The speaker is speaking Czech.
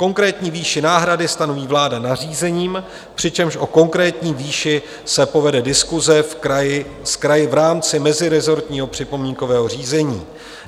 Konkrétní výši náhrady stanoví vláda nařízením, přičemž o konkrétní výši se povede diskuse s kraji v rámci mezirezortního připomínkového řízení.